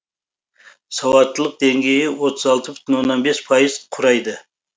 сауаттылық деңгейі отыз алты бүтін оннан бес пайыз құрайды